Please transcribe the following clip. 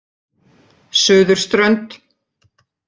Suðurströnd